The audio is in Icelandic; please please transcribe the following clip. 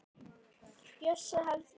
Bjössi hleypur til hennar.